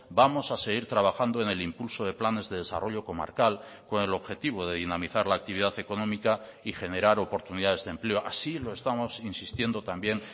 vamos a seguir trabajando en el impulso de planes de desarrollo comarcal con el objetivo de dinamizar la actividad económica y generar oportunidades de empleo así lo estamos insistiendo también